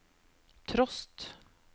trost